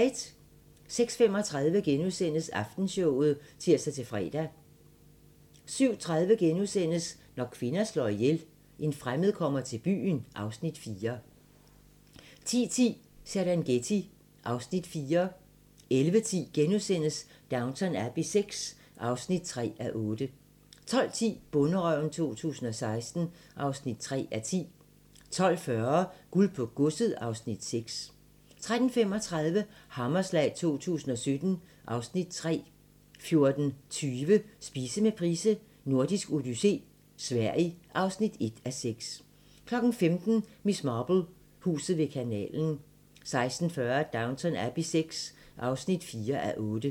06:35: Aftenshowet *(tir-fre) 07:30: Når kvinder slår ihjel - En fremmed kommer til byen (Afs. 4)* 10:10: Serengeti (Afs. 4) 11:10: Downton Abbey VI (3:8)* 12:10: Bonderøven 2016 (3:10) 12:40: Guld på godset (Afs. 6) 13:35: Hammerslag 2017 (Afs. 3) 14:20: Spise med Price: Nordisk odyssé - Sverige (1:6) 15:00: Miss Marple: Huset ved kanalen 16:40: Downton Abbey VI (4:8)